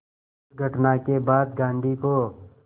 इस घटना के बाद गांधी को